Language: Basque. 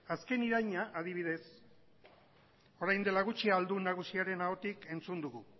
azken iraina adibidez orain dela gutxi ahaldun nagusiaren ahotik entzun dugu